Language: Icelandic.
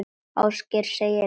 Ásgeir segir ekkert.